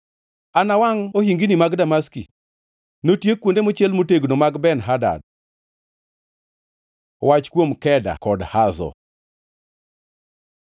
“Anawangʼ ohingini mag Damaski; notiek kuonde mochiel motegno mag Ben-Hadad.” Wach kuom Keda kod Hazo